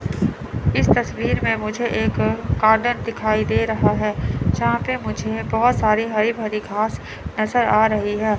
इस तस्वीर में मुझे एक गार्डन दिखाई दे रहा है यहां पे मुझे बहुत सारी हरी भरी घास नजर आ रही है।